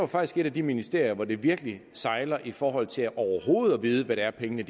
faktisk et af de ministerier hvor det virkelig sejler i forhold til overhovedet at vide hvad det er pengene